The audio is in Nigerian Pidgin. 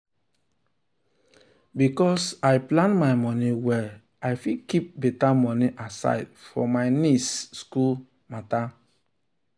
because i plan my money well i fit keep better money aside for my nieces school matter. nieces school matter.